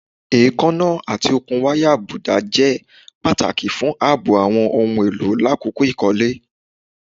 Eekanna ati okun waya abuda jẹ pataki fun aabo awọn ohun elo lakoko ikole